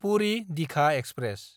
Puri Digha express